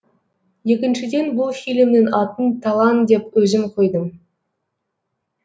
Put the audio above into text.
екіншіден бұл фильмнің атын талан деп өзім қойдым